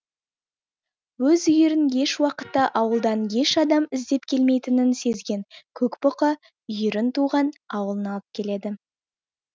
өз үйірін еш уақытта ауылдан еш адам іздеп келмейтінін сезген көк бұқа үйірін туған ауылына алып келеді